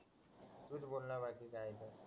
तू बोल ना बाकी काय आहे ते